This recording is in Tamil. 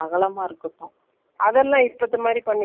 boat neck இல்ல சின்னதும் இல்லாம, பெருசும் இல்லாம.